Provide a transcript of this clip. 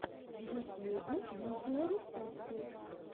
в ютьюбе видеорецепты